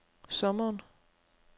sommeren